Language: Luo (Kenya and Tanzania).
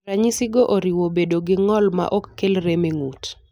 Ranyisigo oriwo bedo gi ng'ol maok kel rem e ng'ut.